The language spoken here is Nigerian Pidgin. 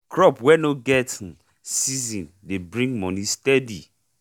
crop wey nor get um season dey bring moni steady